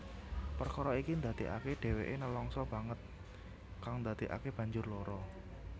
Perkara iki ndadekake dheweke nelangsa banget kang ndadekake banjur lara